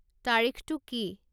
তাৰিখটো কি